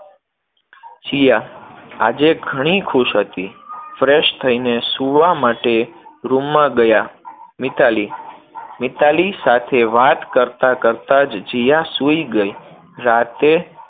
જીયા આજે ઘણી ખુશ હતી, fresh થઈને સુવા માટે room માં ગયા. મિતાલી, મિતાલી સાથે વાત કરતા કરતા જ જીયા સુઈ ગઈ. રાતે